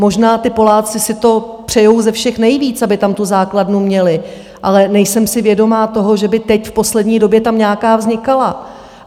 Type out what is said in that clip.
Možná ti Poláci si to přejí ze všech nejvíc, aby tam tu základnu měli, ale nejsem si vědoma toho, že by teď v poslední době tam nějaká vznikala.